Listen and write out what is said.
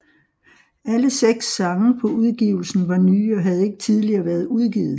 Alle seks sange på udgivelsen var nye og havde ikke tidligere været udgivet